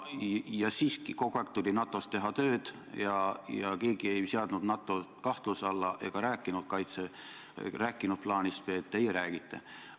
Siiski, kogu aeg tuli NATO-s teha tööd ja keegi ei seadnud NATO-t kahtluse alla ega rääkinud plaanist B. Teie räägite.